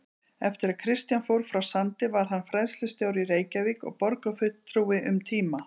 Eftir að Kristján fór frá Sandi varð hann fræðslustjóri í Reykjavík og borgarfulltrúi um tíma.